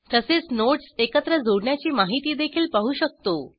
तसेच नोडस् एकत्र जोडण्याची माहितीदेखील पाहू शकतो